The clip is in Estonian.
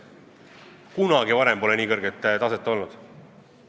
Kunagi varem pole nii kõrget taset olnud.